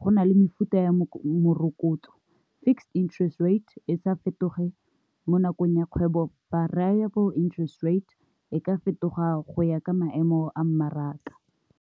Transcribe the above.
go na le mefuta ya morokotso fixed interest rate e sa fetoge mo nakong ya kgwebo variable interest rate e ka fetoga go ya ka maemo a mmaraka.